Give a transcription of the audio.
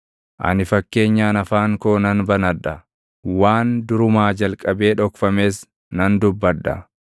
Ani fakkeenyaan afaan koo nan banadha; waan durumaa jalqabee dhokfames nan dubbadha.